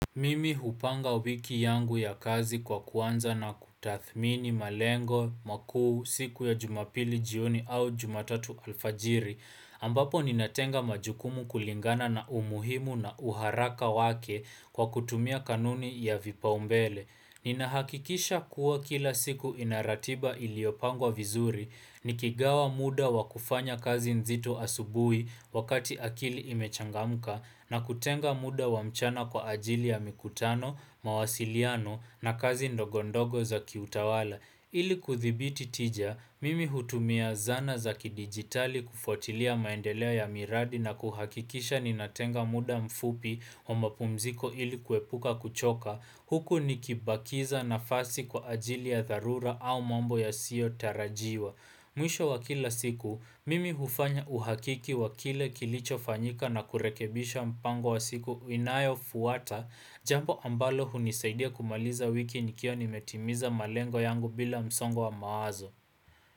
Mimi hupanga wiki yangu ya kazi kwa kuanza na kutathmini malengo, makuu, siku ya jumapili jioni au jumatatu alfajiri ambapo ninatenga majukumu kulingana na umuhimu na uharaka wake kwa kutumia kanuni ya vipaumbele Ninahakikisha kuwa kila siku ina ratiba iliyopangwa vizuri Nikigawa muda wa kufanya kazi nzito asubuhi wakati akili imechangamka na kutenga muda wa mchana kwa ajili ya mikutano, mawasiliano na kazi ndogondogo za kiutawala. Ili kuthibiti tija, mimi hutumia zana za kidijitali kufuatilia maendeleo ya miradi na kuhakikisha ninatenga muda mfupi wa mapumziko ili kuepuka kuchoka, huku nikibakisha nafasi kwa ajili ya dharura au mambo yasiyotarajiwa. Mwisho wa kila siku, mimi hufanya uhakiki wa kile kilichofanyika na kurekebisha mpango wa siku inayofuata jambo ambalo hunisaidia kumaliza wiki nikiwa nimetimiza malengo yangu bila msongo wa mawazo.